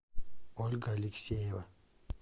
ольга алексеева